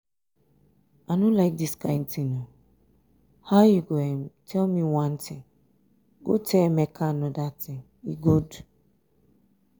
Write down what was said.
um i no like dis kyn thing. how you go um tell me one thing um go tell emeka another thing e good?